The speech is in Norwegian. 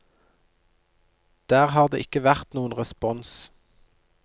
Der har det ikke vært noen respons.